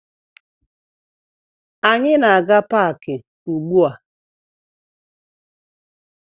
Anyị na-aga paakị ugbua